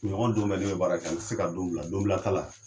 Kunɲɔgɔn don bɛɛ ne be bara kɛ an te se ka don bila donbila t'a la